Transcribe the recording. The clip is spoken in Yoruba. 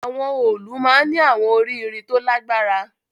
Awọn òòlù maa n ni awọn ori irin to lagbara